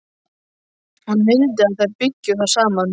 Hún vildi að þær byggju þar saman.